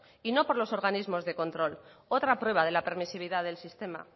y no por los organismos de control otra prueba de la permisividad del sistema